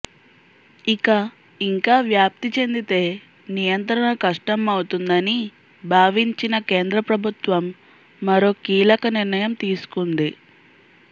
ఇక ఇంకా వ్యాప్తి చెందితే నియంత్రణ కష్టం అవుతుందని భావించిన కేంద్ర ప్రభుత్వం మరో కీలక నిర్ణయం తీసుకుంది